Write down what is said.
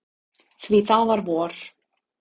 Því það var vor.